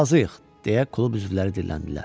Razıyıq, deyə klub üzvləri dilləndilər.